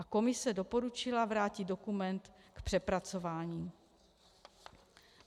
A komise doporučila vrátit dokument k přepracování.